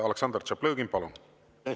Aleksandr Tšaplõgin, palun!